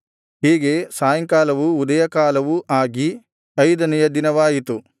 ಹೀಗೆ ಸಾಯಂಕಾಲವೂ ಉದಯಕಾಲವೂ ಆಗಿ ಐದನೆಯ ದಿನವಾಯಿತು